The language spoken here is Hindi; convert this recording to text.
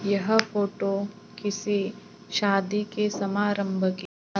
यह फोटो किसी शादी के समा आरंभ की--